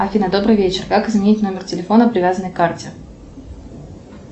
афина добрый вечер как изменить номер телефона привязанный к карте